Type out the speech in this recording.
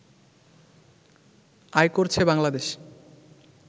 আয় করছে বাংলাদেশ